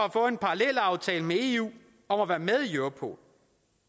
at få en parallelaftale med eu om at være med i europol